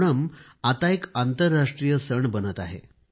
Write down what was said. ओणम आता एक आंतरराष्ट्रीय सण बनत आहे